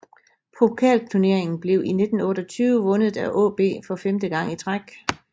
Pokalturneringen blev i 1928 vundet af AaB for femte gang i træk